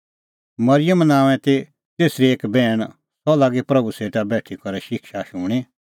मरिअम नांओंए ती तेसरी एक बैहण सह लागी प्रभू सेटा बेठी करै शिक्षा शूणीं